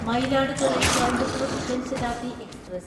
Mayiladuthurai Coimbatore Jan Shatabdi express